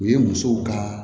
U ye musow ka